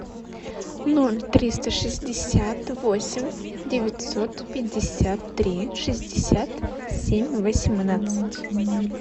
ноль триста шестьдесят восемь девятьсот пятьдесят три шестьдесят семь восемнадцать